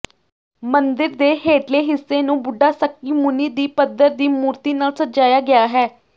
ਮੰਦਿਰ ਦੇ ਹੇਠਲੇ ਹਿੱਸੇ ਨੂੰ ਬੁੱਢਾ ਸਕਕੀਮੂਨੀ ਦੀ ਪੱਥਰ ਦੀ ਮੂਰਤੀ ਨਾਲ ਸਜਾਇਆ ਗਿਆ ਹੈ